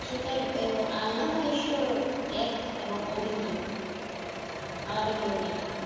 সেটাই আল্লা বা ঈশ্বর এক এবং অদ্বিতীয়, আলাদা কেউ নেই।